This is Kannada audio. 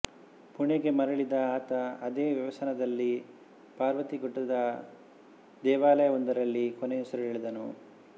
ಪುಣೆಗೆ ಮರಳಿದ ಆತ ಅದೇ ವ್ಯಸನದಲ್ಲಿ ಪರ್ವತಿ ಗುಡ್ಡದ ದೇವಾಲಯವೊಂದರಲ್ಲಿ ಕೊನೆಯುಸಿರೆಳೆದನು